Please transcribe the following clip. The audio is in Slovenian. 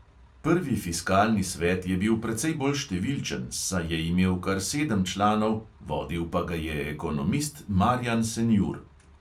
Prvi fiskalni svet je bil precej bolj številčen, saj je imel kar sedem članov, vodil pa ga je ekonomist marjan senjur.